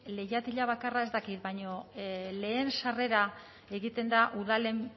leihatila bakarra ez dakit baina lehen sarrera egiten da udalen